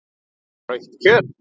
Rautt kjöt.